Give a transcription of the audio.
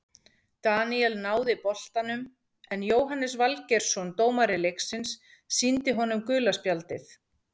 Daníel náði boltanum en Jóhannes Valgeirsson dómari leiksins sýndi honum gula spjaldið.